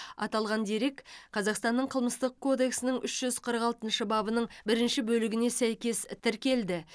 аталған дерек қазақстанның қылмыстық кодексінің үш жүз қырық алтыншы бабының бірінші бөлігіне сәйкес тіркелді